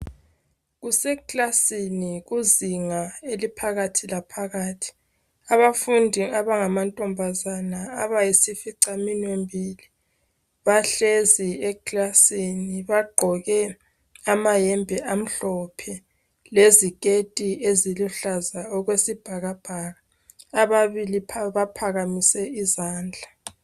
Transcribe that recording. Kusekilasini kuzinga eliphakathi laphakathi abafundi abangamantombazane abayisificaminwe mbili bahlezi ekilasini bagqoke amayembe amhlophe leziketi eziluhlaza okwesibhakabhaka ababili baphakamise izandla.